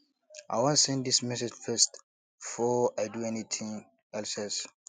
i wan send dis message first before i do anything else else